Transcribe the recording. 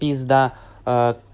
пизда